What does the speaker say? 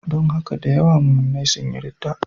Don haka da yawa muminai sun yi ridda.